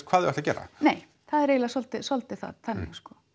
hvað þau ætla að gera nei það er svolítið svolítið þannig